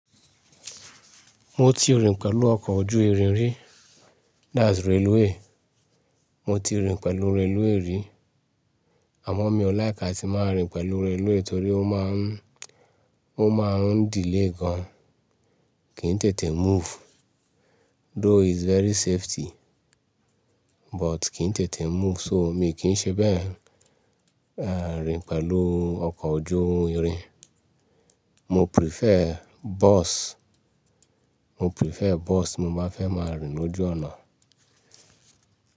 Mo ti rìn pẹ̀lú ọkọ̀ ojú irin rí, that's railway. Mo ti rìn pẹ̀lú railway rí àmọ́ mi ò láìk tí máa rìn pẹ̀lú railway torí ó máa ń, ó máa ń delay gan. Kì í tètè move. Though it's very safety but kì í tètè move so mi kì í ṣe bẹ́ẹ̀ rìn pẹ̀lú ọkọ̀ ojú irin. Mo prefer bus, mo prefer bus mo bá fẹ́ máa rìn lójú ọ̀nà.